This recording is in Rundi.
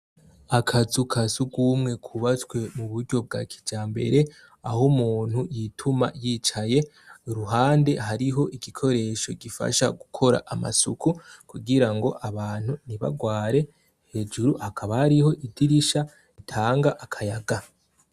Akazukasugumwe kubatswe mu buryo bwa kijamber' ah' umuntu yituma yicaye, kuruhande harih' igikoresho gifasha gukor' amasuku kugira ng' abantu ntibagware, hejuru hakaba harih' idirisha ritang' akayaga, kuruhome hakikujwe n' amakaro kuva kw' idirisha kuduga hasiz' irangi ry' umuhondo.